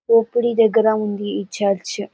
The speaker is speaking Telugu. దోపిడీ దగ్గర ఉంది ఈ చర్చ్ .